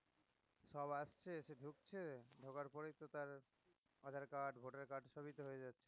সব আসছে এসে ঢুকছে ঢোকার পরেই তো তার আধার card voter card সবই তো হয়ে যাচ্ছে